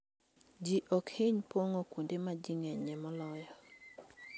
Ji ok hiny pong'o kuonde ma ji ng'enyie moloyo.